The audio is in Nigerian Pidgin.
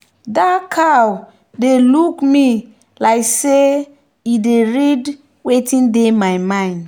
that cow dey look me like say e dey read wetin dey my mind.